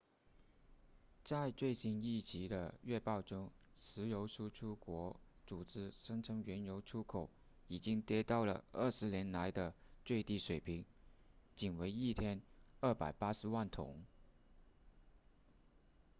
在最新一期的月报中石油输出国组织声称原油出口已经跌到了二十年来的最低水平仅为一天280万桶